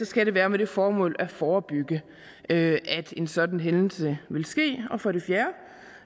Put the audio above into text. skal det være med det formål at forebygge at en sådan hændelse vil ske og for det fjerde